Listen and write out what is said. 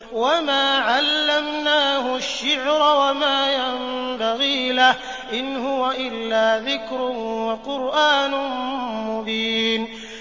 وَمَا عَلَّمْنَاهُ الشِّعْرَ وَمَا يَنبَغِي لَهُ ۚ إِنْ هُوَ إِلَّا ذِكْرٌ وَقُرْآنٌ مُّبِينٌ